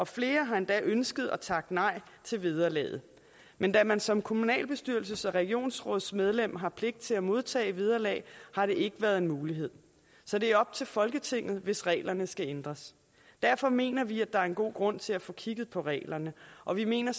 flere har endda ønsket at takke nej til vederlaget men da man som kommunalbestyrelses og regionsrådsmedlem har pligt til at modtage et vederlag har det ikke været en mulighed så det er op til folketinget hvis reglerne skal ændres derfor mener vi at der er en god grund til at få kigget på reglerne og vi mener